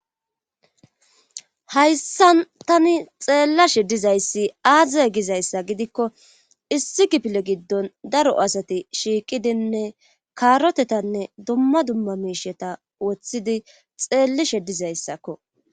hayssan tani xeellashe dizayssi aazze gizayssa gidikko issi kipile giddon daro asati shiiqidinne kaarotetanne dumma dumma miisheta woththidi xeellishe dizayssakko